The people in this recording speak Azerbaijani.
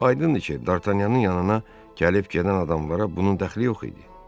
Aydındır ki, Dartanyanın yanına gəlib-gedən adamlara bunun dəxli yox idi.